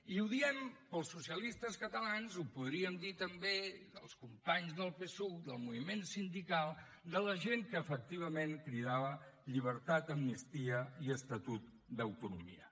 i ho diem pels socialistes catalans i ho podríem dir també dels companys del psuc del moviment sindical de la gent que efectivament cridava llibertat amnistia i estatut d’autonomia